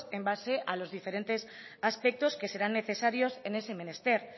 en base a los diferentes aspectos que serán necesarios en ese menester